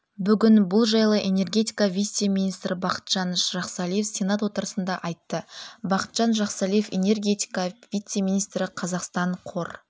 бүгін бұл жайлы энергетика вице-министрі бақытжан жақсалиев сенат отырысында айтты бақытжан жақсалиев энергетика вице-министрі қазақстан қор